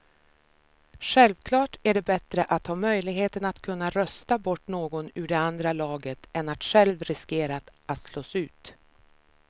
Självklart är det bättre att ha möjligheten att kunna rösta bort någon ur det andra laget än att själv riskera att slås ut.